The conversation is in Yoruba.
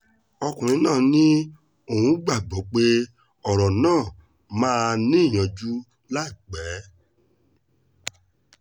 ọkùnrin náà ní òun gbàgbọ́ pé ọ̀rọ̀ náà máa níyanjú láìpẹ́